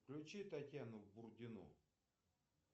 включи татьяну бурдину